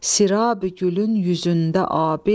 Sirab gülün yüzündə abi,